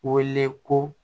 Wele ko